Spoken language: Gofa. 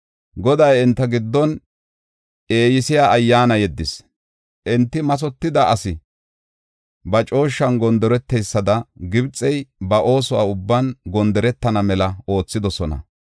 Goday enta giddon eeyisiya ayyaana yeddis; enti mathotida asi ba cooshshan gondoreteysada Gibxey ba ooso ubban gondoretana mela oothidosona.